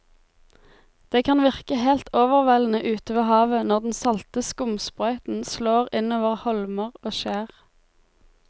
Det kan virke helt overveldende ute ved havet når den salte skumsprøyten slår innover holmer og skjær.